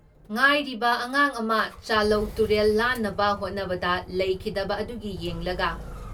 ꯉꯥꯏꯔꯤꯕ ꯑꯉꯥꯡ ꯑꯃ ꯆꯥꯂꯧ ꯇꯨꯔꯦꯜ ꯂꯥꯟꯅꯕ ꯍꯣꯠꯅꯕꯗ ꯂꯩꯈꯤꯗꯕ ꯑꯗꯨꯒꯤ ꯌꯦꯡꯂꯒ